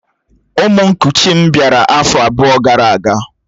Ụmụ nkuchi m bịara afọ abụọ gara aga